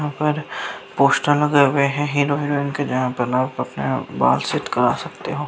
यहाँ पर पोस्टर लगाए हुए हैं हीरो हेरोइन के जगह पर आप बाल सेट करा सकते हो।